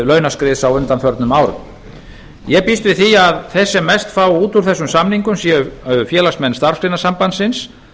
launaskriðs á undanförnum árum ég býst við því að þeir sem mest fá út úr þessum samningum séu félagsmenn starfsgreinasambandsins